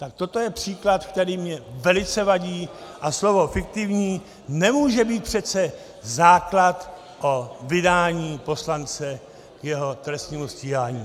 Tak toto je příklad, který mi velice vadí, a slovo "fiktivní" nemůže být přece základ o vydání poslance k jeho trestnímu stíhání.